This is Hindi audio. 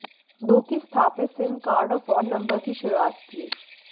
दो की स्थापित सिम कार्ड और फोन नंबर की शुरुआत की